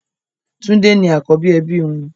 Tunde ni àkọ́bí ẹbí wọn